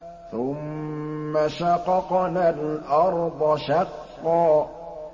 ثُمَّ شَقَقْنَا الْأَرْضَ شَقًّا